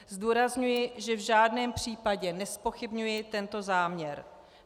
Zdůrazňuji, že v žádném případě nezpochybňuji tento záměr.